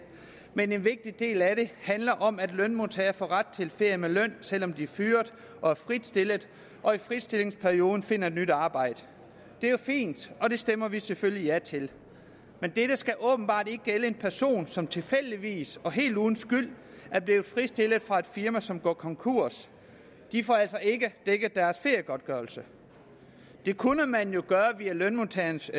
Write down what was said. men en vigtig del af det handler om at lønmodtagere får ret til ferie med løn selv om de er fyret og er fritstillet og i fritstillingsperioden finder et nyt arbejde det er fint og det stemmer vi selvfølgelig ja til men det skal åbenbart ikke gælde en person som tilfældigvis og helt uden skyld er blevet fritstillet fra et firma som går konkurs de får altså ikke dækket deres feriegodtgørelse det kunne man jo gøre via lønmodtagernes